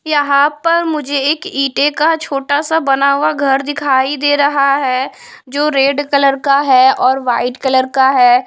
यहाँ पर मुझे एक ईटे का छोटा सा बना हुआ घर दिखाई दे रहा है जो रेड कलर का है और वाइट कलर का है।